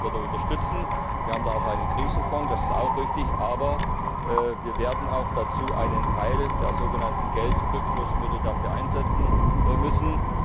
Wir werden die Landwirte unterstützen. Wir haben da auch einen Krisenfonds, das ist auch richtig, aber wir werden dafür auch einen Teil der sogenannten Geldrückflussmittel einsetzen müssen.